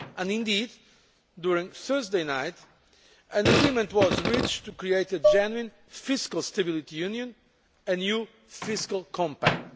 Indeed, during Thursday night an agreement was reached to create a genuine fiscal stability union', a new fiscal compact'.